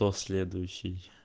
то следующий